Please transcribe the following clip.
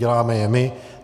Děláme je my.